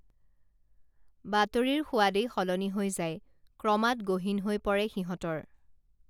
বাতৰিৰ সোৱাদেই সলনি হৈ যায় ক্ৰমাৎ গহীন হৈ পৰে সিহঁতৰ